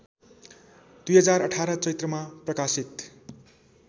२०१८ चैत्रमा प्रकाशित